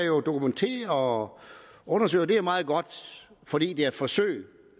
jo dokumentere og undersøge og det er jo meget godt fordi det er et forsøg